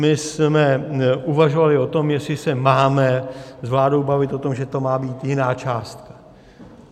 My jsme uvažovali o tom, jestli se máme s vládou bavit o tom, že to má být jiná částka.